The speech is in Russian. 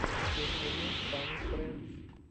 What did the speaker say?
включи мне фанни френдс